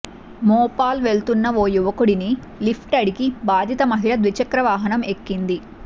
మోపాల్ వెళ్తున్న ఓ యువకుడిని లిఫ్ట్ అడిగి బాధిత మహిళ ద్విచక్రవాహనం ఎక్కింది